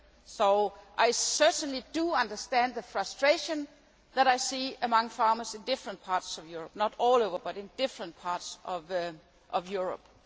So I certainly do understand the frustration that I see among farmers in different parts of Europe, not all over, but in different parts of Europe.